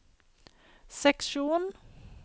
seksjon